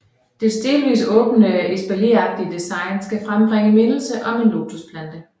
Dets delvis åbne espalieragtige design skal frembringe mindelse om en lotusplante